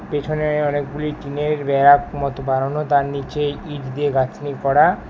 পেছনে অনেকগুলি টিনের ব্যারাক মতো বানানো তার নীচে ইট দিয়ে গাথনি করা।